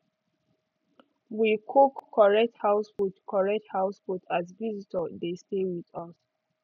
we cook correct house food correct house food as visitor dey stay with us